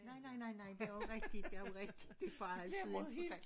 Nej nej nej nej det også rigtigt det også rigtigt det bare altid interessant